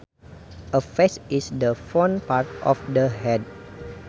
A face is the front part of the head